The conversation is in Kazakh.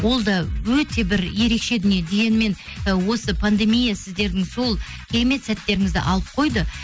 ол да өте бір ерекше дүние дегенмен ы осы пандемия сіздердің сол керемет сәттеріңізді алып қойды